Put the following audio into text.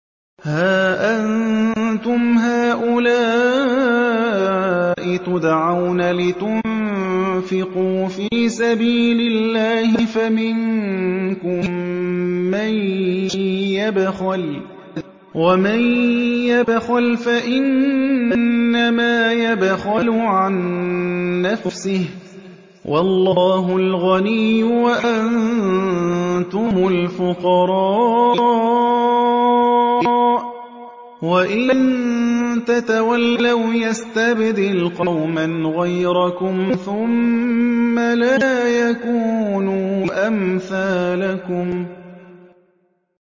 هَا أَنتُمْ هَٰؤُلَاءِ تُدْعَوْنَ لِتُنفِقُوا فِي سَبِيلِ اللَّهِ فَمِنكُم مَّن يَبْخَلُ ۖ وَمَن يَبْخَلْ فَإِنَّمَا يَبْخَلُ عَن نَّفْسِهِ ۚ وَاللَّهُ الْغَنِيُّ وَأَنتُمُ الْفُقَرَاءُ ۚ وَإِن تَتَوَلَّوْا يَسْتَبْدِلْ قَوْمًا غَيْرَكُمْ ثُمَّ لَا يَكُونُوا أَمْثَالَكُم